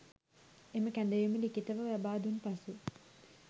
එම කැඳවීම ලිඛිතව ලබා දුන් පසු